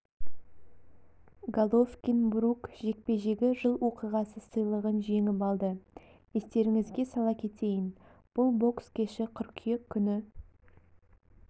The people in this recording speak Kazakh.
головкин брук жекпе-жегі жыл оқиғасы сыйлығын жеңіп алды естеріңізге сала кетейін бұл бокс кеші қыркүйек күні